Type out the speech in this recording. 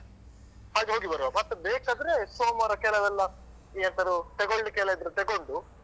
ಹಾಗೆ ಹೋಗಿಬರುವ ಮತ್ತೆ ಬೇಕಾದ್ರೆ ಸೋಮವಾರ ಕೆಲವೆಲ್ಲ ಎಂತದುತೆಗೋಲಿಕ್ಕೆಲ್ಲ ಇದ್ರೆ ತೆಗೊಂಡು